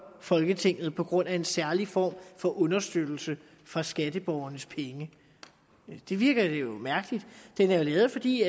folketinget på grund af en særlig form for understøttelse for skatteborgernes penge det virker jo mærkeligt det er jo lavet fordi